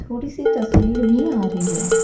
थोड़ी सी तस्वीर भी आ रही हैं।